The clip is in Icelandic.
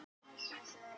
Nei það gerir þú ekki.